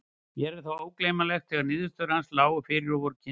Mér er það ógleymanlegt þegar niðurstöður hans lágu fyrir og voru kynntar.